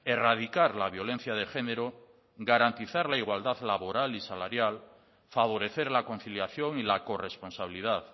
erradicar la violencia de género garantizar la igualdad laboral y salarial favorecer la conciliación y la corresponsabilidad